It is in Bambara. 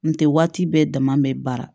N tɛ waati bɛɛ dama bɛ baara